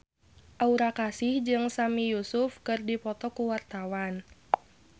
Aura Kasih jeung Sami Yusuf keur dipoto ku wartawan